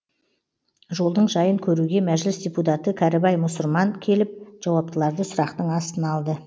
жолдың жайын көруге мәжіліс депутаты кәрібай мұсырман келіп жауаптыларды сұрақтың астына алды